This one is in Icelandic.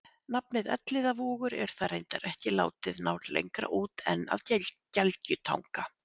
nafnið elliðavogur er þar reyndar ekki látið ná lengra út en að gelgjutanga